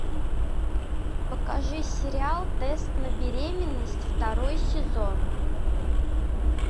покажи сериал тест на беременность второй сезон